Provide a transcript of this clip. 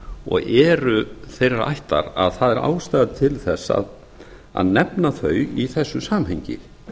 og eru þeirrar ættar að það er ástæða til þess að nefna þau í þessu samhengi